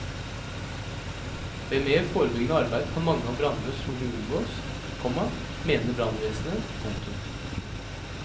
Ved mer forebyggende arbeid kan mange av brannene trolig unngås, komma mener brannvesenet. punktum